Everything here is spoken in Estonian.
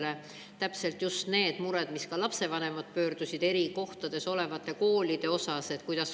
Nendelesamadele, millega ka lapsevanemad on pöördunud: milline on nende eri kohtades paiknevate koolide edasine tulevik?